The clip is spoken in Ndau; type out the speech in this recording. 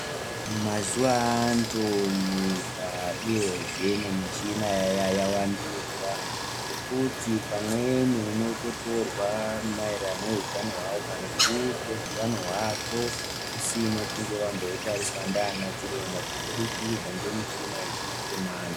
Mazuwa antu nyika uyezve nemichina yavandudzwa ngekuti pamweni unototorwa maererano neutano hwako kana hunge utano hwako husina kunge hwambotariswa ngaanachiremba kubudikidza ngemichina yechimanje manje.